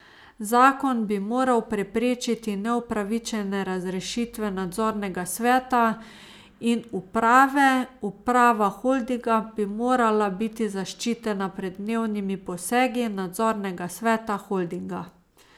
Zakon bi moral preprečiti neupravičene razrešitve nadzornega sveta in uprave, uprava holdinga bi morala biti zaščitena pred dnevnimi posegi nadzornega sveta holdinga.